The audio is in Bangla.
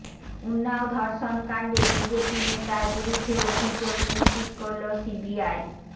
উন্নাও ধর্ষণকাণ্ডে বিজেপি নেতার বিরুদ্ধে অভিযোগ নিশ্চিত করল সিবিআই